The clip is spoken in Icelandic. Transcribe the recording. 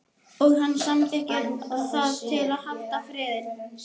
Og hann samþykkir það til að halda friðinn.